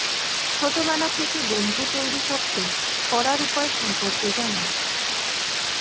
ছোটবেলা থেকে বন্ধু তৈরি করতে করার উপায় সম্পর্কে জানুন